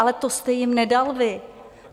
Ale to jste jim nedal vy.